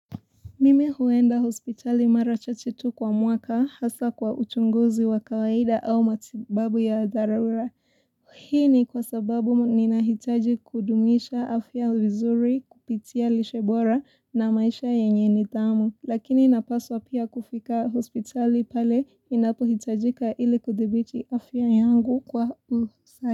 Mimi huenda hospitali mara chache tu kwa mwaka hasa kwa uchunguzi wa kawaida au matibabu ya dharura. Hii ni kwa sababu ninahitaji kudumisha afya vizuri kupitia lishebora na maisha yenye nidhamu. Lakini napaswa pia kufika hospitali pale inapuhitajika ili kudhibiti afya yangu kwa usahi.